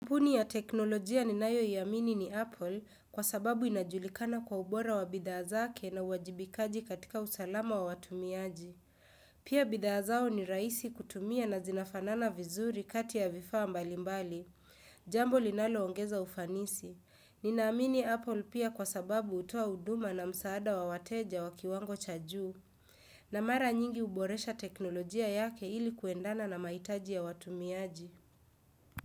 Kampuni ya teknolojia ninayo i amini ni Apple kwa sababu inajulikana kwa ubora wa bidhaa zake na uajibikaji katika usalama wa watumiaji. Pia bidhaa zao ni raisi kutumia na zinafanana vizuri kati ya vifaa mbalimbali. Jambo linalo ongeza ufanisi. Nina amini Apple pia kwa sababu hutoa huduma na msaada wa wateja wa kiwango cha juu. Na mara nyingi huboresha teknolojia yake ili kuendana na mahitaji ya watumiaji.